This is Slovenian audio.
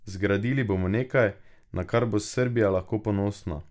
Zgradili bomo nekaj, na kar bo Srbija lahko ponosna.